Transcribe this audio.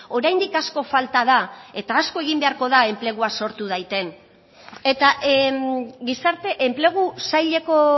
oraindik asko falta da eta asko egin beharko da enplegua sortu daiten eta gizarte enplegu saileko